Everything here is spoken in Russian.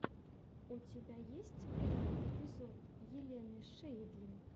у тебя есть первый эпизод елены шейдлин